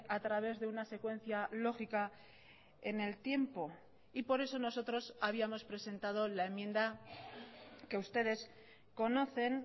a través de una secuencia lógica en el tiempo y por eso nosotros habíamos presentado la enmienda que ustedes conocen